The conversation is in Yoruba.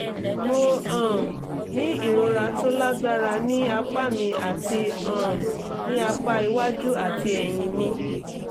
mo um ní ìrora tó lágbára ní apá mi àti um ní apá iwájú àti ẹ̀yìn mi